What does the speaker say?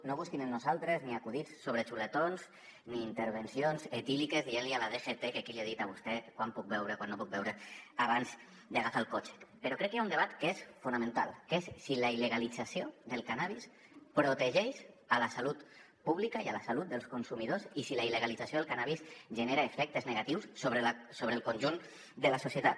no busquin en nosaltres ni acudits sobre xuletons ni intervencions etíliques dient li a la dgt qui li ha dit a vostè quant puc beure o quant no puc beure abans d’agafar el cotxe però crec que hi ha un debat que és fonamental que és si la il·legalització del cànnabis protegeix la salut pública i la salut dels consumidors i si la il·legalització del cànnabis genera efectes negatius sobre el conjunt de la societat